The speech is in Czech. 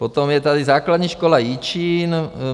Potom je tady základní škola Jičín.